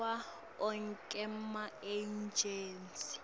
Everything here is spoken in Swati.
kuwo onkhe emaejensi